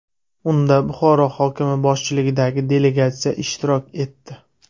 Unda Buxoro hokimi boshchiligidagi delegatsiya ishtirok etdi.